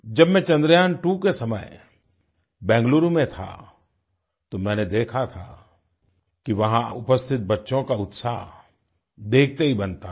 जब मैं चंद्रयान2 के समय बेंगलुरु में था तो मैंने देखा था कि वहाँ उपस्थित बच्चों का उत्साह देखते ही बनता था